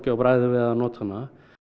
á bragðið að nota hana